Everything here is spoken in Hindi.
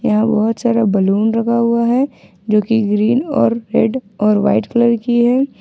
यहां बहुत सारा बलून रखा हुआ है जो कि ग्रीन और रेड और वाइट कलर की है।